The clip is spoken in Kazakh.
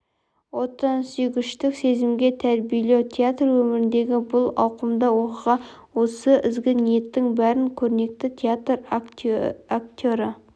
отансүйгіштік сезімге тәрбиелеу театр өміріндегі бұл ауқымды оқиға осы ізгі ниеттің бәрін көрнекті театр актері